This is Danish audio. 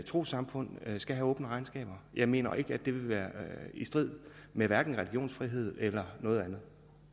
trossamfund skal have åbne regnskaber jeg mener ikke det vil være i strid med religionsfrihed eller noget andet